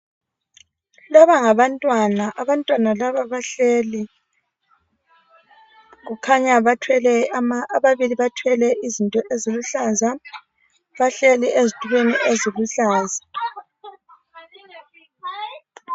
Laba ngabantwana abantwana laba bahleli. Kukhanya bathwele ama ababili bathwele izinto eziluhlaza bahleli ezitulweni eziluhlaza.